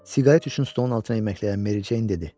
Siqaret üçün stolun altına yeməkləyən Mericeyn dedi.